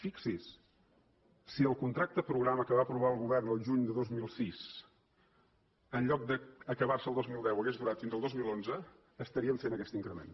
fixi s’hi si el contracte programa que va aprovar el govern el juny de dos mil sis en lloc d’acabar se el dos mil deu hagués durat fins al dos mil onze estaríem fent aquest increment